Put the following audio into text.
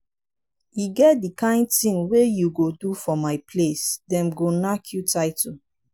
e get di kain tin wey you go do for my place dem go nack you title.